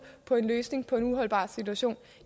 på en løsning på en uholdbar situation